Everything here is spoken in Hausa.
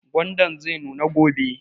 Gwandan zai nuna gobe